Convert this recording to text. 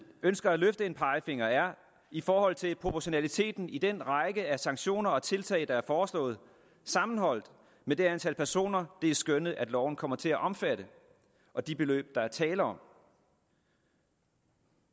ønsker at løfte en pegefinger er i forhold til proportionaliteten i den række af sanktioner og tiltag der er foreslået sammenholdt med det antal personer det er skønnet at loven kommer til at omfatte og de beløb der er tale om